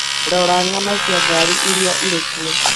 Rora ng'ano cia ngari iria irĩ kuo.